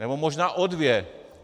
Nebo možná o dvě.